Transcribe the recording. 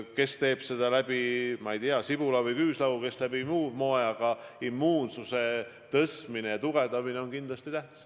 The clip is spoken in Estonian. Kes teeb seda, ma ei tea, sibula või küüslauguga, kes muul moel, aga immuunsuse tõstmine on kindlasti tähtis.